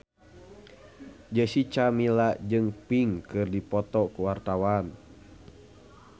Jessica Milla jeung Pink keur dipoto ku wartawan